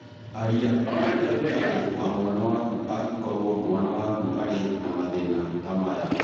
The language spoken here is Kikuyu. Aria na ndagĩtarĩ wa mwana waku angĩkorũo mwana waku arĩ na mathĩĩna ta maya.